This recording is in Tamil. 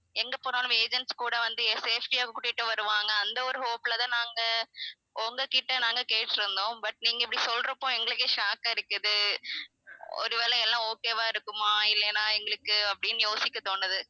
எங்க போனாலும் agents கூட வந்து safety ஆ கூட்டிட்டு வருவாங்க அந்த ஒரு hope ல தான் நாங்க உங்ககிட்ட நாங்க கேட்டிருந்தோம் but நீங்க இப்படி சொல்ற அப்போ எங்களுக்கே shock ஆ இருக்குது ஒருவேளை எல்லாம் okay வா இருக்குமா இல்லைனா எங்களுக்கு அப்படின்னு யோசிக்க தோணுது